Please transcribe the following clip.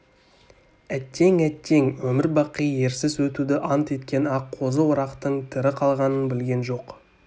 әттең әттең өмір-бақи ерсіз өтуді ант еткен аққозы орақтың тірі қалғанын білген жоқ